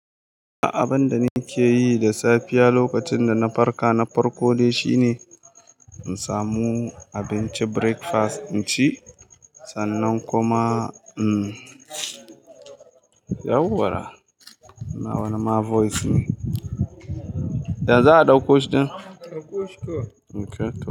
A abinda nake yi da safiya lokacin da na farka na farko dai shine in samu abincin breakfast in ci sannan kuma yau wara nawa na ma voice ne. Ya za a ɗauko shi din? Ɗauko shi kawai. Okay.